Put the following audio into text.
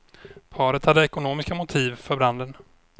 Paret hade ekonomiska motiv för branden.